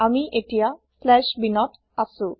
আমি এতিয়া bin slash binত আছো